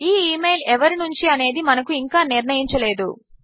ఈ email ఎవరి నుంచి అనేది మనము ఇంకా నిర్ణయించలేదు